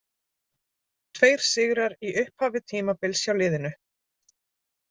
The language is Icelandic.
Tveir sigrar í upphafi tímabils hjá liðinu.